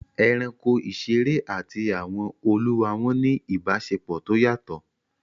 Ẹranko ìṣeré àti àwọn olúwa wọn ní ìbáṣepọ̀ tó yàtọ̀